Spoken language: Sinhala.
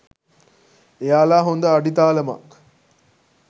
එයාලා හොඳ අඩිතාලමක්